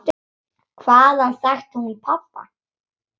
Hvaðan þekkti hún pabba?